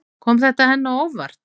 Kom þetta henni á óvart?